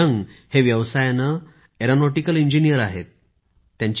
Yong हे व्यवसायाने aeronautical engineer आहेत